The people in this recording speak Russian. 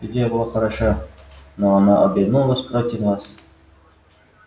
идея была хороша но она обернулась против нас